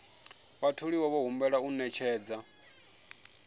vhatholiwa vho humbelwa u ṅetshedza